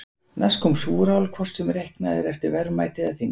Næst kom súrál, hvort heldur reiknað er eftir verðmæti eða þyngd.